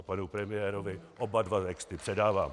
A panu premiérovi oba dva texty předávám.